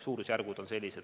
Suurusjärgud on sellised.